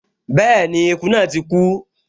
Bẹ́ẹ̀ni, eku náà ti kú